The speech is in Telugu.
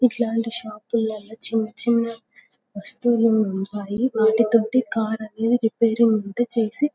ఇట్లాటి షాపులో చిన్నచిన్న వస్తువులు ఉంటాయి. వాటితోటి కార్ ఆది రిపేర్రింగ్ ఉంటే చేసి --